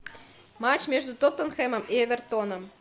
матч между тоттенхэмом и эвертоном